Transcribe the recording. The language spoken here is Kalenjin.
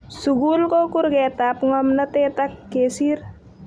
Sukul ko kurketap ngomnotet ak kesir